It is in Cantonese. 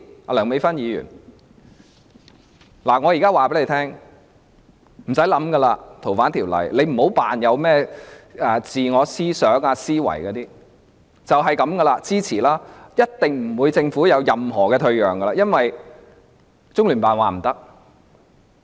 我現在告訴梁美芬議員，她無需思考《條例草案》，也不要裝作有甚麼自我思想、自我思維，只要支持便可，而政府一定不會有任何退讓，因為中聯辦已說明不可以。